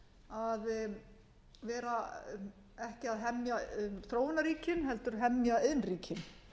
var eðlilegt að vera ekki að hemja þróunarríkin heldur hemja iðnríkin